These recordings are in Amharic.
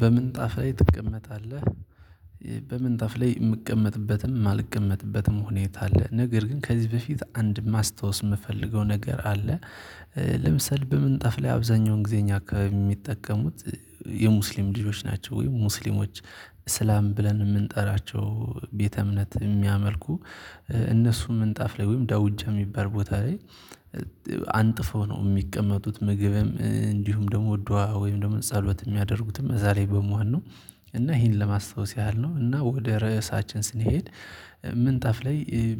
በምንጣፍ ላይ ትቀመጣለህ? በምንጣፍ ላይ የምቀመጥበትም የማልቀመጥበትም ሁኔታ አለ ነገር ግን ከዚህ በፊት አንድ ማስታወስ የምፈልገው ነገር አለ። ለምሳሌ በምንጣፍ ላይ አብዛኛውን ጊዜ እኛ አካባቢ የሚጠቀሙት የሙስሊም ልጆች ናቸው ወይም ሙስሊሞች። እስላም ብለን የምንጠራቸው ቤተ እምነት የሚያመልኩ እነሱም ምንጣፍ ላይ ወይም ደውጃ የሚባል ቦታ ላይ አንጥፈው ነው የሚቀመጡት ምግብም እንዲሁም ደግሞ ዱዋ ወይም ደግሞ ጸሎት የሚያደርጉትም እዛ ላይ በመሆን ነው። እና ይሄን ለማስታወስ ያህል ነው። እና ወደ ርዕሳችን ስንሄድ ምንጣፍ ላይ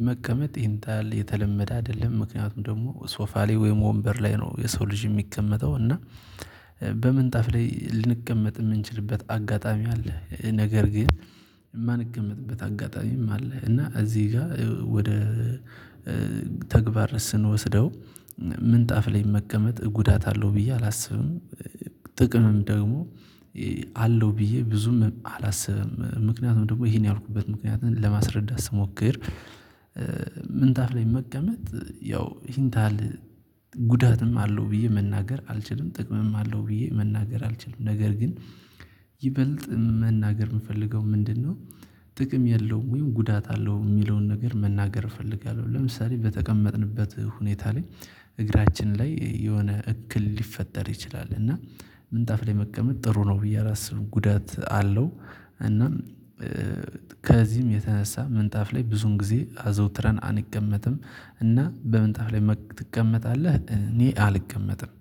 መቀመጥ ይሄን ታል የተለመደ አይደለም። ምክንያቱም ደግሞ ሶፋ ላይ ወይም ወንበር ላይ ነው የሰው ልጅ የሚቀመጠው እና በምንጣፍ ላይ ልንቀመጥ የምንችልበት አጋጣሚ አለ። ነገር ግን የማንቀመጥበት አጋጣሚም አለ። እና እዚህ ጋር ወደ ተግባር ስንወስደው ምንጣፍ ላይ መቀመጥ ጉዳት አለው ብዬ አላስብም። ጥቅምም ደግሞ አለው ብዬ ብዙም አላስብም። ምክንያቱም ደግሞ ይሄን ያልኩበት ምክንያት ለማስረዳት ስሞክር ምንጣፍ ላይ መቀመጥ ያው ይሄን ታል ጉዳትም አለው ብዬ መናገር አልችልም ጥቅምም አለው ብዬ መናገር አልችልም። ነገር ግን ይበልጥ መናገር የምፈልገው ምንድነው? ጥቅም የለውም ወይም ጉዳት አለው የሚለውን ነገር መናገር እፈልጋለሁ። ለምሳሌ በተቀመጥንበት ሁኔታ ላይ እግራችን ላይ የሆነ እክል ሊፈጠር ይችላል። እና ምንጣፍ ላይ መቀመጥ ጥሩ ነው ብዬ አላስብም ጉዳት አለው። እናም ከዚህም የተነሳ ምንጣፍ ላይ ብዙን ጊዜ አዘውትረን አንቀመጥም። እና በምንጣፍ ላይ ትቀመጣለህ እኔ አልቀመጥም